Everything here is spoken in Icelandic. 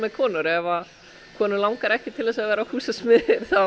konur ef konum langar ekki til að vera húsasmiðir